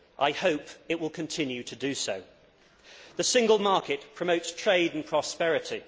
I hope it will continue to do so. The single market promotes trade and prosperity